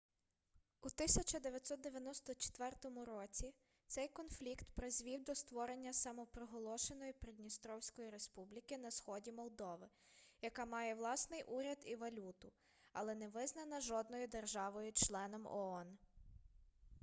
у 1994 році цей конфлікт призвів до створення самопроголошеної придністровської республіки на сході молдови яка має власний уряд і валюту але не визнана жодною державою-членом оон